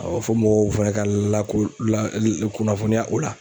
fɔ mɔgɔw fana ka lako la kunnafoniya o la.